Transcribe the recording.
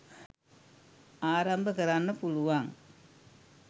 ආරම්භ කරන්න පුළුවන්